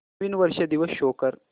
नवीन वर्ष दिवस शो कर